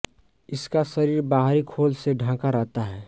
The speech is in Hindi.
इसका शरीर बाहरी खोल से ढँका रहता है